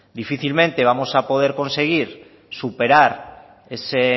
difícilmente vamos a poder conseguir superar ese